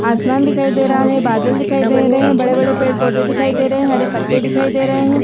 आसमान दिखाई दे रहा है बादल दिखाई दे रहे है बड़े-बड़े पेड़ पौधे दिखाई दे रहे है हरे पत्ते दिखाई दे रहे है।